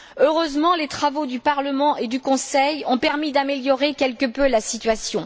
Heureusement, les travaux du Parlement et du Conseil ont permis d'améliorer quelque peu la situation.